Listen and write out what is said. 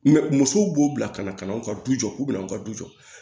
musow b'o bila ka na ka na aw ka du jɔ k'u bɛna aw ka du jɔ